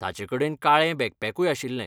ताचेकडेन काळें बॅकपॅकूय आशिल्लें.